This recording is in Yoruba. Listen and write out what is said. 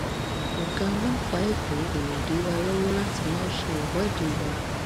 ọgá ọlọpàá èkó kó lè dí wa lọwọ láti má ṣe ìwọde wa